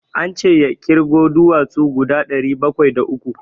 An ce ya ƙirgo duwatsu guda ɗari bakwai da uku.